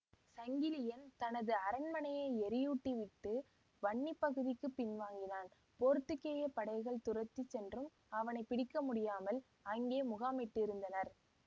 சங்கிலியன் தனது அரண்மனையை எரியூட்டிவிட்டு வன்னி பகுதிக்குப் பின்வாங்கினான் போத்துக்கேயப் படைகள் துரத்திச் சென்றும் அவனை பிடிக்கமுடியாமல் அங்கே முகாமிட்டிருந்தனர்